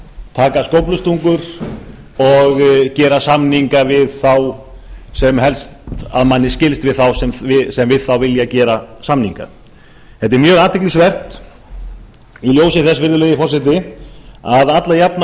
taka skóflustungur og gera samninga að manni skilst við þá sem við þá vilja gera samninga þetta er mjög athyglisvert í ljósi þess virðulegi forseti að alla jafna